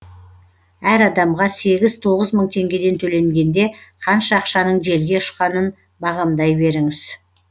әр адамға сегіз тоғыз мың теңгеден төленгенде қанша ақшаның желге ұшқанын бағамдай беріңіз